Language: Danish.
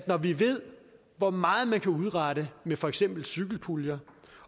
når vi ved hvor meget man kan udrette med for eksempel cykelpuljer